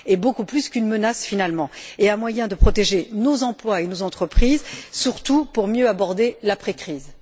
elle serait beaucoup plus qu'une menace finalement et serait un moyen de protéger nos emplois et nos entreprises, surtout pour mieux aborder l'après crise.